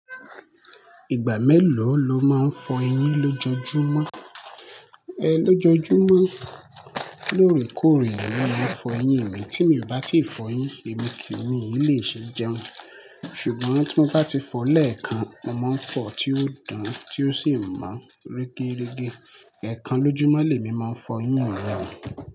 Ìgbà mélòó lo máa ń fọ eyín lójoojúmọ́? E lojoojúmọ́ lórèkórè ni mo máa ń fọ eyín mi. Tí mi ò bá tíì fọ eyín èmi kò ní lè jẹun. Ṣùgbọ́n tí mo bá ti fọ lẹ́ẹ̀kan, mo máa ń fọ̀ọ́ tí ó dàn-án tí ó sì ń mọ́, rẹ́rẹ́ rẹ́gẹ́. Ẹ̀kan lójúmọ́ lè mi máa ń fọ eyín mi.